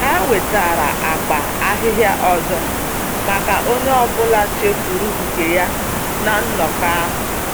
Ha wetara akpa ahịhịa ọzọ maka onye ọbụla chefuru nke ya na nnọkọ ahụ.